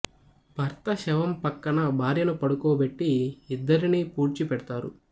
భర్త శవం ప్రక్కన భార్యను పడుకో బెట్టి ఇద్దరిని పూడ్చి పెడ్తారు